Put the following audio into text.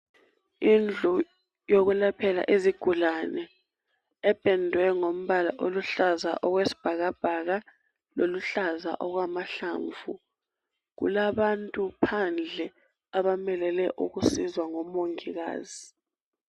Indlu yokulaphela izigulane ependwe ngombala oluhlaza okwesibhakabhaka loluhlaza okwamahlamvu. Kulabantu phandle abamelele ukusizwa ngomongikazi.